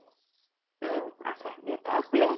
উম আছে। দেউতা শুলে।